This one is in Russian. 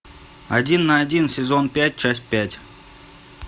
один на один сезон пять часть пять